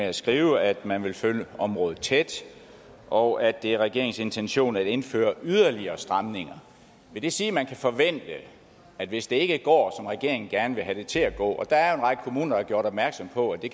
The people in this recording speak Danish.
at skrive at man vil følge området tæt og at det er regeringens intention at indføre yderligere stramninger vil det sige at man kan forvente hvis det ikke går som regeringen gerne vil have det til at gå og der er en række kommuner der har gjort opmærksom på at det